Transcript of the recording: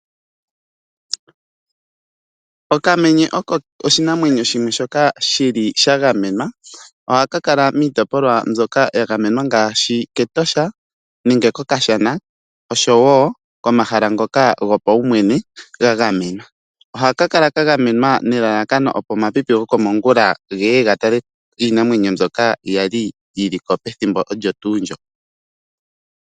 Okamenye oko oshinamwenyo shimwe shoka shili sha gamenwa, ohaka kala miitopolwa mbyoka ya gamenwa ngaashi kEtosha nenge kOkashana, oshowo komahala ngoka gopaumwene ga gamenwa. Ohaka kala ka gamenwa nelalakano opo omapipi gokomongula geye ga tale iinamwenyo mbyoka yaliko pethimbo olyo tuu ndjo.